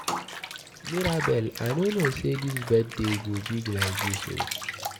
Mirabel I no know say dis birthday go big like dis oo.